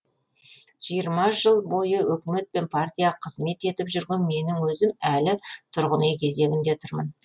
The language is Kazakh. жиырма жыл бойы өкімет пен партияға қызмет етіп жүрген менің өзім әлі тұрғын үй кезегінде тұрмын